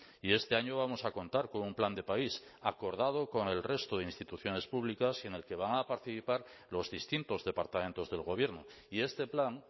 y este año vamos a contar con un plan de país acordado con el resto de instituciones públicas y en el que van a participar los distintos departamentos del gobierno y este plan